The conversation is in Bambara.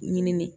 Ɲini